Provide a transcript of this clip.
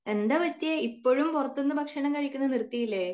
എന്താ പറ്റിയെ? ഇപ്പോഴും പുറത്തുനിന്നും ഭക്ഷണം കഴിക്കുന്നത് നിർത്തിയില്ലേ?